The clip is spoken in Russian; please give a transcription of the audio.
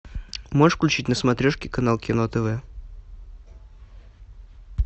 можешь включить на смотрешке канал кино тв